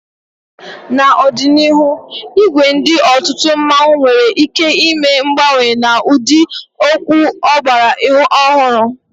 N'ọdịnihu, ìgwè ndị otu mmanwu nwere ike ime mgbanwe n'ụdị okwu ọgbara ọhụrụ.